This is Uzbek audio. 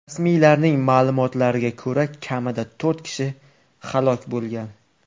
Rasmiylarning ma’lumotlariga ko‘ra, kamida to‘rt kishi halok bo‘lgan.